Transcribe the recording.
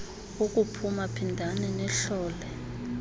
uphuma phindani nihlole